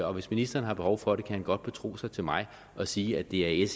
og hvis ministeren har behov for det kan han godt betro sig til mig og sige at det er